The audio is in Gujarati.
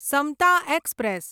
સમતા એક્સપ્રેસ